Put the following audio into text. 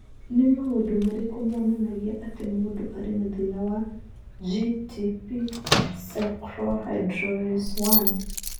Nĩ maũndũ marĩkũ monanagia atĩ mũndũ arĩ na thĩna wa GTP cyclohydrolase I?